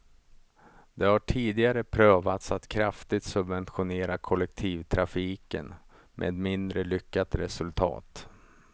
Det har tidigare prövats att kraftigt subventionera kollektivtrafiken, med mindre lyckat resultat.